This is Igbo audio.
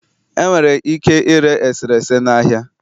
Enwere ike ire eserese na ahịa